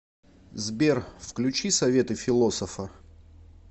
сбер включи советы философа